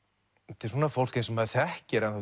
þetta er fólk eins og maður þekkir ennþá